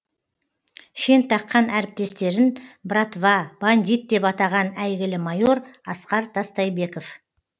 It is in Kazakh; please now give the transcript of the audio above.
шен таққан әріптестерін братва бандит деп атаған әйгілі майор асқар тастайбеков